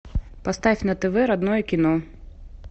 поставь на тв родное кино